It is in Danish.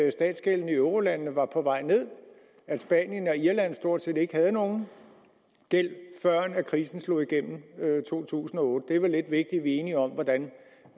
at statsgælden i eurolandene var på vej ned at spanien og irland stort set ikke havde nogen gæld førend krisen slog igennem i 2008 det er vel lidt vi er enige om